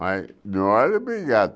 Mas, não era obrigado